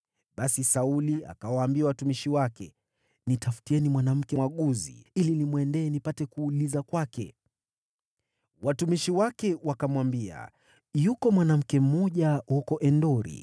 Basi Sauli akawaambia watumishi wake, “Nitafutieni mwanamke mwaguzi ili nimwendee, nipate kuuliza kwake.” Watumishi wake wakamwambia, “Yuko mwanamke mmoja huko Endori.”